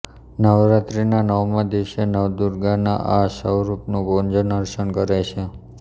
નવરાત્રીના નવમા દિવસે નવદુર્ગાનાં આ સ્વરૂપનું પૂજન અર્ચન કરાય છે